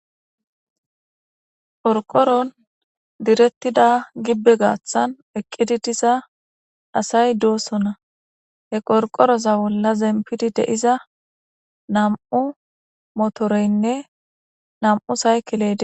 qorqoron direttida gibbe gaaththan eqqidi diza asay doosona he qorqoroza bolla zempidi de'iza nam'u motoreynne nam'u saykile de'ees